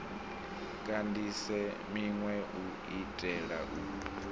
kandise minwe u itela u